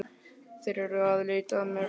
Þeir eru að leita að mér